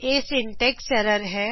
ਇਹ syntax error ਹੈ